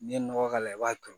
N'i ye nɔgɔ k'a la i b'a to